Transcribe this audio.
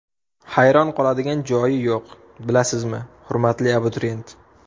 Hayron qoladigan joyi yo‘q, bilasizmi, hurmatli abituriyent!